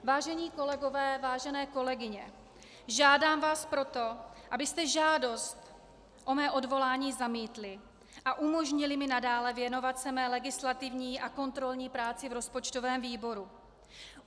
Vážení kolegové, vážené kolegyně, žádám vás proto, abyste žádost o mé odvolání zamítli a umožnili mi nadále věnovat se své legislativní a kontrolní práci v rozpočtovém výboru.